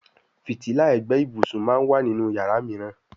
Fìtílà ègbé ibùsùn món wá nínú iyàrá míràn.